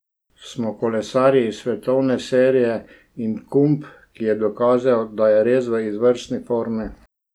Smo kolesarji iz svetovne serije in Kump, ki je dokazal, da je res v izvrstni formi.